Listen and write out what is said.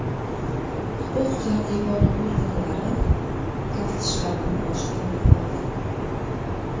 Huquq-tartibot organlari taftishlarni boshlab yubordi.